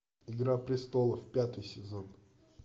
игра престолов пятый сезон